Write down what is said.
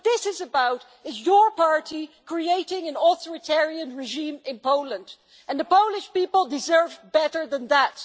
What this is about is your party creating an authoritarian regime in Poland, and the Polish people deserve better than that.